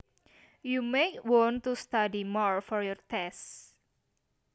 You might want to study more for your tests